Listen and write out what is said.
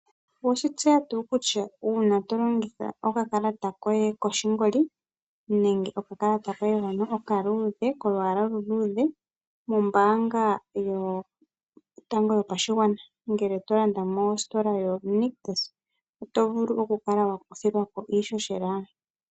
Oweshi tseya tuu kutya uuna to longitha okakalata koye koshingoli nenge okakalata koye hono okaluudhe, kolwaala oluluudhe mombaanga yotango yopashigwana ngele to landa mositola yoNictus, oto vulu oku kala wa kuthilwa ko iishoshela?